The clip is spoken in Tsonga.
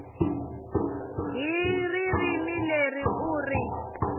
hi ririmi leri u ri